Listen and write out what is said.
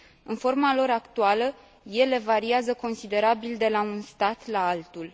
În forma lor actuală, ele variază considerabil de la un stat la altul.